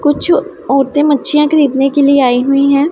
कुछ औरतें मच्छियां खरीदने के लिए आई हुई हैं।